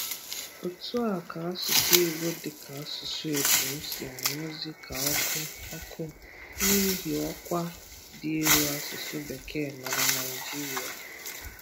otu a ka asụsụ Igbo dịka asụsụ epum si anyụzị ka ọkụ ọkụ n'ihi ọkwa dị elu asụsụ Bekee nọ na Naịjiria